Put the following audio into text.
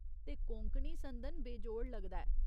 ते कोंकणी संदन बेजोड़ लगदा ऐ।